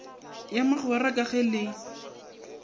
ya magwera ka ge le